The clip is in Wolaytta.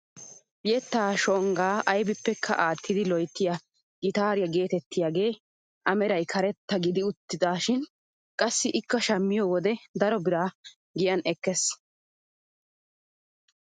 Yettaa shonggaa aybippekka aattidi loyttiyaa gitaariyaa getettiyaage a meray karetta gididi utisishin qassi ikka shammiyoo wode daro biraa giyan ekkees!